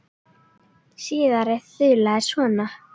Síðari þulan er svona